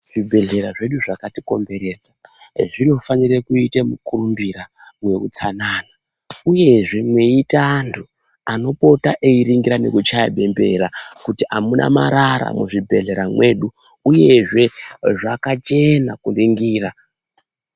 Zvibhehlera zvedu zvakatikomberedza zvinofanira kuita mukurumbira weutsana uyezve meiita antu anopota eiringira nekutya bembera kuti amuna antu muzvibhehlera mwedu uyezve zvakachena kuringira.